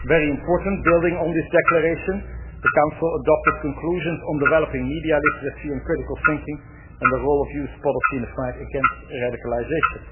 Very important, building on this declaration, the Council adopted conclusions on developing media literacy and critical thinking and the role of youth policy in the fight against radicalisation.